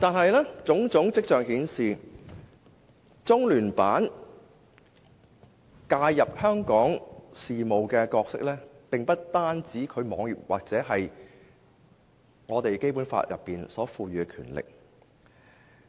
然而，種種跡象顯示，中聯辦介入香港事務的角色，並不單是其網頁所載或《基本法》所賦予的權力。